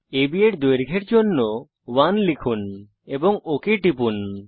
আব এর দৈর্ঘ্যের জন্য 1 লিখুন এবং ওক টিপুন